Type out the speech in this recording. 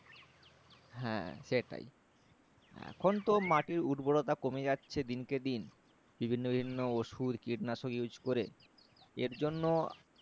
হ্যাঁ সেটাই এখন তো মাটির উর্বরতা কমে যাচ্ছে দিনকে দিন বিভিন্ন বিভিন্ন ওষুধ কীটনাশক Use করে এর জন্য